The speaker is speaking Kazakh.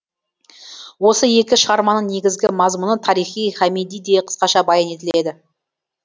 осы екі шығарманың негізгі мазмұны тарихи хамидиде қысқаша баян етіледі